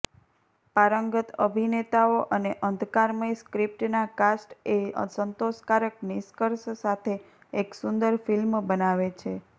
પારંગત અભિનેતાઓ અને અંધકારમય સ્ક્રીપ્ટના કાસ્ટ એ સંતોષકારક નિષ્કર્ષ સાથે એક સુંદર ફિલ્મ બનાવે છે